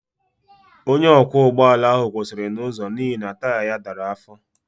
Onye ọkwọ ụgbọ ala ahụ kwụsịrị n'ụzọ n'ihi na taya anyị dara afọ